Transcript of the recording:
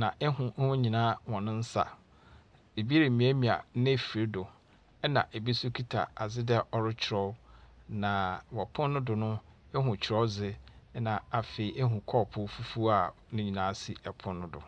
na ihu hɔn nyinaa hɔn nsa. Ibi remiamia n'efir do, ɛnna ebi nso kita adze dɛ ɔrekyerɛw, na wɔ pon no do no, ihu kyerɛwdze, na afei ehun kɔɔpoo fufuo a ne nyinaa si pon no do.